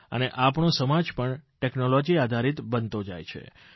અને આપણો સમાજ પણ ટેકનોલોજી આધારિત બનતો જાય છે